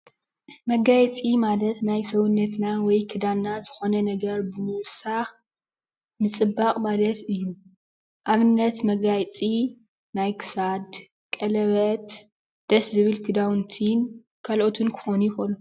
መጋየፂ ማለት ናብ ሰውነትና ወይ ክዳና ዝኾነ ነገር ምውሳክ ምፅባቅ ማለት እዩ። ኣብነት፦ መጋየፂ ናይ ክሳድ፣ ቀለበት፣ ደስ ዝብል ክዳውንቲ ካሎኦትን ክኾኑ ይክእሉ።